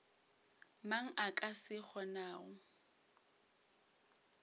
mang a ka se kgonago